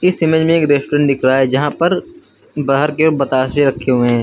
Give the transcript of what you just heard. इस इमेज में एक रेस्टोरेंट दिख रहा है जहां पर बाहर के बताशे रखे हुए हैं।